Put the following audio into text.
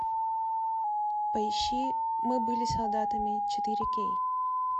поищи мы были солдатами четыре кей